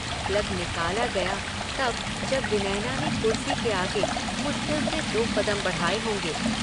Plug निकाला गया तब जब विनयना ने कुर्सी के आगे मुश्किल से दो कदम बढ़ाये होंगे।